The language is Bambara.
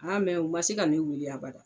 Ma mɛ u ma se ka ne wuli abada.